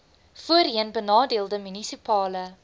voorheen benadeelde munisipale